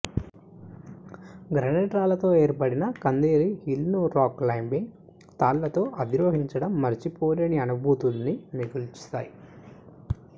granite రాళ్లతో ఏర్పడిన ఖందోలి హిల్ను రాక్ క్లైంబింగ్ తాళ్ళతో అధిరోహించడం మరచిపోలేని అనుభూతుల్ని మిగుల్చుతాయి